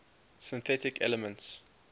synthetic elements